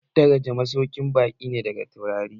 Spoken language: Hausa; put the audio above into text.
Ana daraji masaukin baƙi ne daga taurari